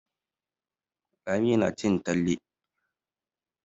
Lami nacin taliya.